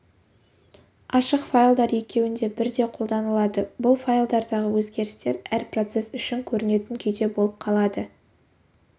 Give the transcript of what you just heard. ашық файлдар екеуінде бірдей қолданылады бұл файлдардағы өзгерістер әр процесс үшін көрінетін күйде болып қалады екі